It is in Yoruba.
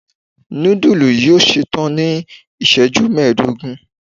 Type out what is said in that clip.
nudulu yoo ṣetan ni iṣẹju mẹdogun